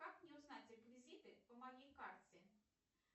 как мне узнать реквизиты по моей карте